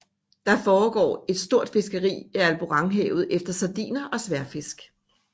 Der foregår et stort fiskeri i Alboranhavet efter sardiner og sværdfisk